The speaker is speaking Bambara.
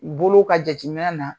Bolo ka jateminɛ na